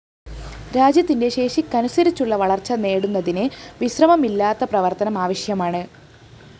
രാജ്യത്തിന്റെ ശേഷിക്കനുസരിച്ചുള്ള വളര്‍ച്ച നേടുന്നതിന് വിശ്രമമില്ലാത്ത പ്രവര്‍ത്തനം ആവശ്യമാണ്